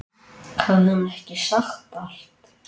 Hafði hún ekki sagt allt?